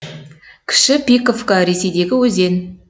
кіші пиковка ресейдегі өзен